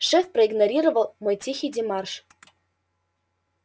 шеф проигнорировал мой тихий демарш